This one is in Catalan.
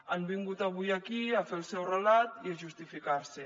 han vingut avui aquí a fer el seu relat i a justificar se